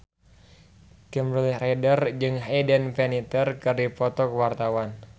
Kimberly Ryder jeung Hayden Panettiere keur dipoto ku wartawan